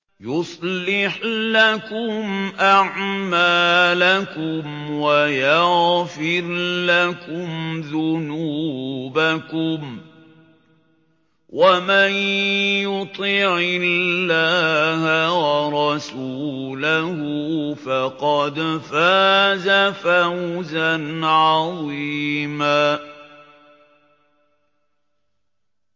يُصْلِحْ لَكُمْ أَعْمَالَكُمْ وَيَغْفِرْ لَكُمْ ذُنُوبَكُمْ ۗ وَمَن يُطِعِ اللَّهَ وَرَسُولَهُ فَقَدْ فَازَ فَوْزًا عَظِيمًا